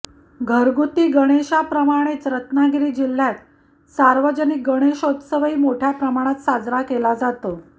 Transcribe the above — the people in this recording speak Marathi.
घरगुती गणेशाप्रमाणेच रत्नागिरी जिल्ह्यात सार्वजनिक गणेशोत्सवही मोठय़ाप्रमाणात साजरा केला जातो